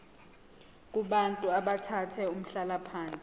kubantu abathathe umhlalaphansi